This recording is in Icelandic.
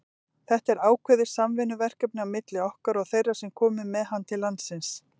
Þetta er ákveðið samvinnuverkefni milli okkar og þeirra sem komu með hann til landsins.